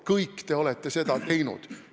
Kõik te olete seda teinud!